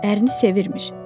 Ərini sevirmiş.